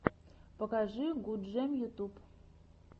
покажи гудджем ютюб